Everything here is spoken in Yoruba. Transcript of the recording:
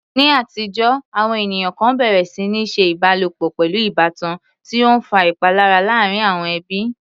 Ní àtijọ́, àwọn ènìyàn kan bẹ̀rẹ̀ sí ní ṣe ìbálòpọ̀ pẹ̀lú ìbátan, tí ó ń fa ìpalára láàárín àwọn ẹbí.